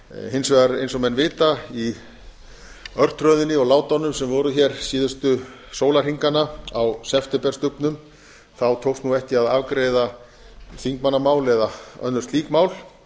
hins vegar eins og menn vita í örtröðinni og látunum sem voru hér síðustu sólarhringana á septemberstubbnum tókst nú ekki að afgreiða þingmannamál eða önnur slík mál